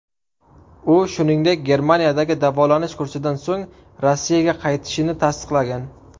U, shuningdek, Germaniyadagi davolanish kursidan so‘ng Rossiyaga qaytishini tasdiqlagan.